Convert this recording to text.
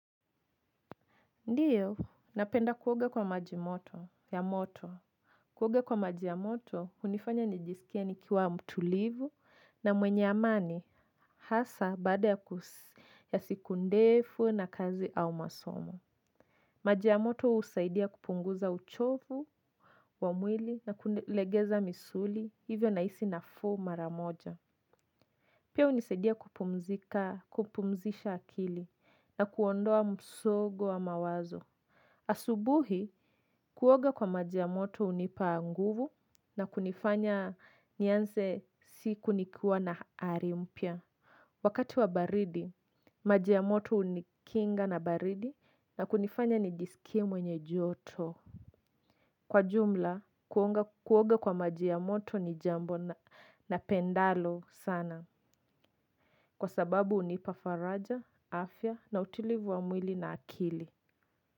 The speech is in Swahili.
Ndiyo, napenda kuoga kwa maji moto ya moto. Kuoga kwa maji ya moto, hunifanya nijisikie nikiwa mtulivu na mwenye amani hasa baada ya siku ndefu na kazi au masomo. Maji ya moto husaidia kupunguza uchovu, wa mwili na kulegeza misuli, hivyo nahisi nafuu mara moja. Pia hunisaidia kupumzika, kupumzisha akili na kuondoa msongo wa mawazo. Asubuhi kuoga kwa maji ya moto hunipa nguvu na kunifanya nianze siku nikiwa na hali mpya. Wakati wa baridi maji ya moto hunikinga na baridi na kunifanya nijisikie mwenye joto. Kwa jumla kuoga kwa maji ya moto ni jambo napendalo sana. Kwa sababu hunipa faraja, afya na utulivu wa mwili na akili.